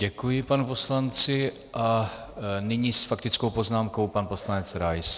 Děkuji panu poslanci a nyní s faktickou poznámkou pan poslanec Rais.